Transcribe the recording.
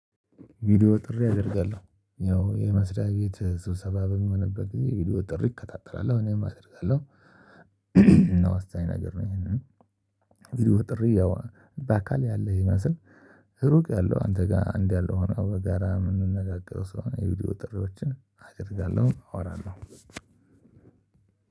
ቪዲዮ ጥሪ አደርጋለሁ። ያው የመስሪያ ቤት ስብሰባ በሚሆንበት ጊዜ ቪዲዮ ጥሪ እከታተላለሁ እኔም አደርጋለሁ። እና ወሳኝ ነገር ነው ይሄንን ቪድዮ ጥሪ ያው በአካል ያለ ይመስል ሩቅ ያለው አንተ ጋር እንዲህ ያለው ሆኖ በጋራ የምንነጋገረው ስለሆነ የቪዲዮ ጥሪዎችን አደርጋለሁ አወራለሁ።